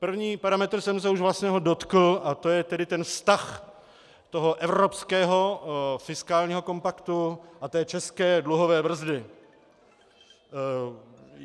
Prvního parametru jsem se už vlastně dotkl, a to je tedy ten vztah toho evropského fiskálního kompaktu a té české dluhové brzdy.